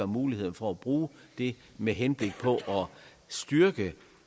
muligheden for at bruge det med henblik på at styrke